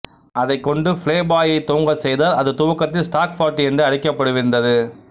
அதைக் கொண்டு ப்ளேபாய் யை துவங்கச் செய்தார் அது துவக்கத்தில் ஸ்டாக் பார்ட்டி என்று அழைக்கப்படவிருந்தது